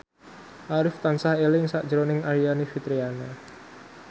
Arif tansah eling sakjroning Aryani Fitriana